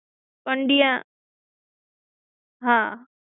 પંડ્યા આ